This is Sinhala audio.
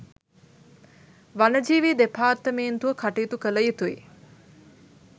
වනජීවී දෙපාර්තමේන්තුව කටයුතු කළ යුතුයි.